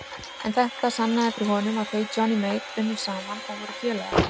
En þetta sannaði fyrir honum að þau Johnny Mate unnu saman og voru félagar.